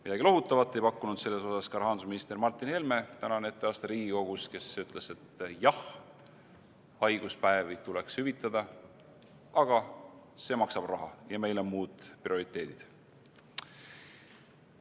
Midagi lohutavat ei pakkunud selles osas ka rahandusminister Martin Helme tänane etteaste Riigikogus, kes ütles, et jah, haiguspäevi tuleks hüvitada, aga see maksab raha ja meil on muud prioriteedid.